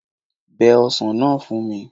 Bẹ ọsàn náà fún mi